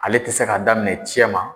Ale tɛ se k'a daminɛ cɛma